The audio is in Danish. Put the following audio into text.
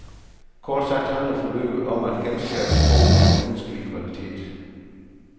Kort sagt handler forløbet om at genskabe troen på menneskelig kvalitet.